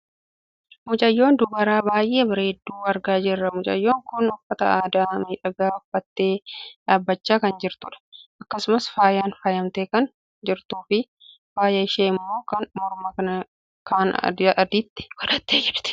Mucayyoo dubaraa baayyee bareeddu argaa jirra. Mucayyoon kun uffata aadaa miidhagaa uffattee dhaabbachaa kan jirtudha. Akkasumas faayan faayamtee kan jirtuufi faayi ishee ammoo kan mormaa kan addaati. Innis callee irraa kan hojjatamudha.